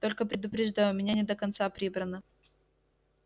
только предупреждаю у меня не до конца прибрано